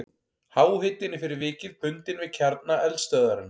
Háhitinn er fyrir vikið bundinn við kjarna eldstöðvarinnar.